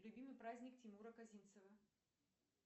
любимый праздник тимура козинцева